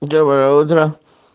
доброе утро